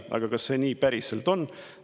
Aga kas see päriselt nii on?